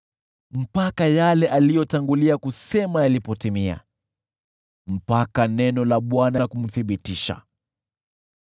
hadi yale aliyotangulia kusema yalipotimia, hadi neno la Bwana lilipomthibitisha.